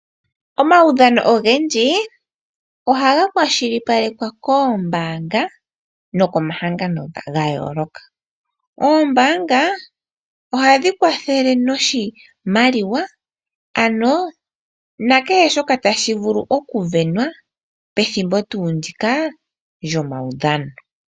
Omaudhano ogendji ohaga kwashilipalekwa koombaanga nenge omahangano . Omahangano ngano nenge oombanga , ohadhi gandja oshimaliwa opo ngele aadhani ya sindana , taya pewa nee oshimaliwa shika.